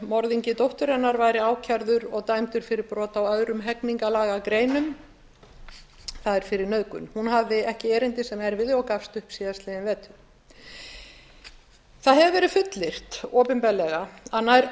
morðingi dóttur hennar væri ákærður og dæmdur fyrir brot á öðrum hegningarlagagreinum það er fyrir nauðgun hún hafði ekki erindi sem erfiði og gafst upp í fyrravetur það hefur verið fullyrt opinberlega að nær öllum